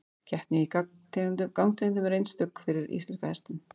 Keppni í gangtegundum er einstök fyrir íslenska hestinn.